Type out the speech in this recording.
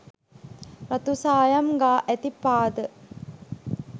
රතුසායම් ගා ඇති පාද,